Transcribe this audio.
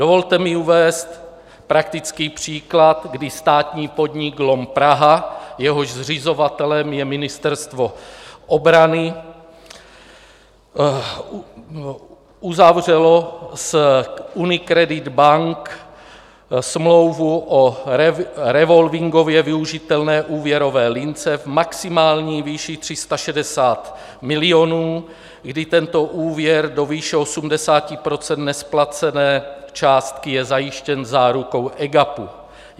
Dovolte mi uvést praktický příklad, kdy státní podnik LOM Praha, jehož zřizovatelem je Ministerstvo obrany, uzavřel s UniCredit Bank smlouvu o revolvingově využitelné úvěrové lince v maximální výši 360 milionů, kdy tento úvěr do výše 80 % nesplacené částky je zajištěn zárukou EGAPu.